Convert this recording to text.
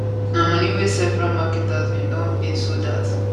na money wey several marketers bin don pay so dat